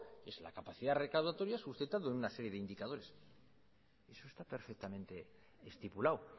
pues la capacidad recaudatoria suscitando en una serie de indicadores eso está perfectamente estipulado